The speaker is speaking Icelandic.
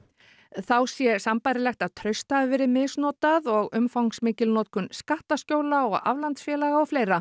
þá sé sambærilegt að traust hafi verið misnotað og umfangsmikil notkun skattaskjóla og aflandsfélaga og fleira